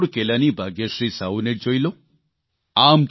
ઓડિશાના રાઉરકેલાની ભાગ્યશ્રી સાહુને જ જોઇ લો